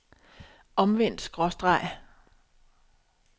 omvendt skråstreg